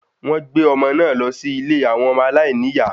Wọ́n gbé ọmọ náà lọ sí ilé àwọn ọmọ aláìní ìyá